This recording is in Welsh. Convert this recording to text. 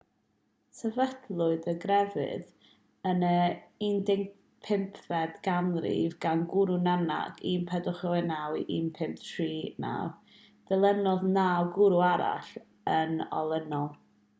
sefydlwyd y grefydd yn y 15fed ganrif gan gwrw nanak 1469-1539. dilynodd naw gwrw arall yn olynol